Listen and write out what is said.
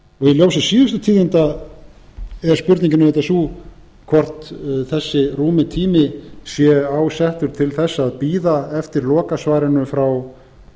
í ljósi síðustu tíðinda er spurningin auðvitað sú hvort þessi rúmi tími sé ásettur til þess að bíða eftir lokasvarinu frá